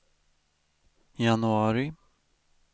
januari